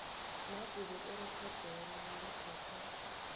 nakube irekhodelo liphethe